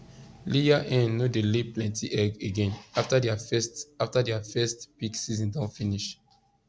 layer hen no dey lay plenty egg again after their first after their first peak season don finish